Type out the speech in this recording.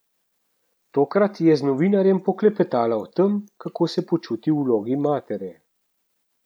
Tokrat je z novinarjem poklepetala o tem, kako se počuti v vlogi matere.